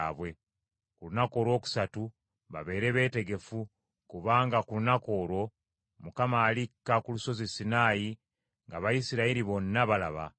ku lunaku olwokusatu babeere beetegefu, kubanga ku lunaku olwo Mukama alikka ku lusozi Sinaayi ng’Abayisirayiri bonna balaba.